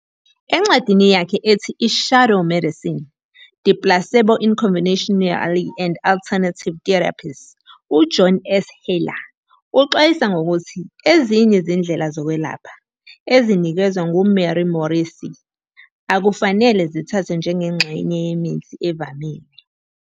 Encwadini yakhe ethi, "I-Shadow Medicine- The Placebo in Conventional and Alternative Therapies," uJohn S. Haller uxwayisa ngokuthi ezinye izindlela zokwelapha, ezinikezwa nguMary Morrissey, akufanele zithathwe njengengxenye yemithi evamile.